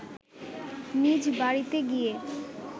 নিজ বাড়িতে গিয়ে